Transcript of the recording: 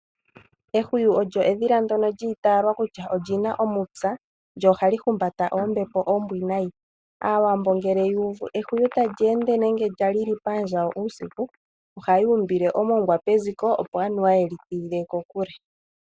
Ehwiyu olyo edhila ndyono lyi italwa kutya olina omupya lyo ohali humbata oombepo oombwinayi. Aawambo ngele yu uvu ehwiyu tali ende nenge lya lili pandjawo uusiku ohayu umbile omongwa peziko opo anuwa yeli tidhile kokule.